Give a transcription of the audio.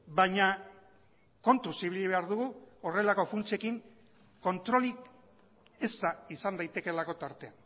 baina kontuz ibili behar dugu horrelako funtsekin kontrolik eza izan daitekeelako tarte